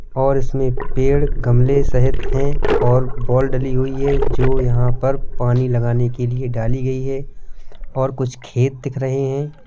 और इसमें पेड़ गमले सहित हैं और बॉल डली हुई है जो यहां पर पानी लगाने के लिए डाली गई है और कुछ खेत दिख रहे हैं।